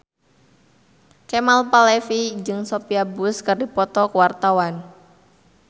Kemal Palevi jeung Sophia Bush keur dipoto ku wartawan